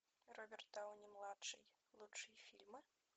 роберт дауни младший лучшие фильмы